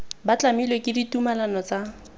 ba tlamilwe ke ditumalano tsa